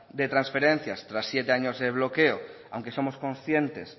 de transferencias tras siete años de bloqueo aunque somos conscientes